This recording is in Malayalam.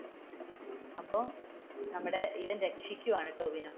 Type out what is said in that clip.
അപ്പോ നമ്മുടെ ഇവൻ രക്ഷിക്കുവാണ് ടോവിനോ.